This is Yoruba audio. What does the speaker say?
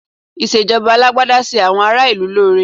Ìṣèjọba Alágbádá ṣe àwọn ará ìlú lóore